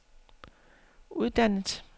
uddannet